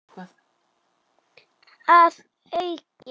Að auki